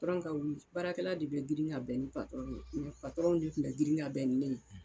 Patɔrɔn Ka wuli, baarakɛla de bɛ grin ka bɛn ni patɔrɔn ye, patɔrɔn de kun bɛ grin ka bɛn ni ne ye.